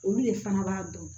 Olu de fana b'a dɔn